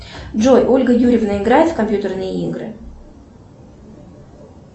джой ольга юрьевна играет в компьютерные игры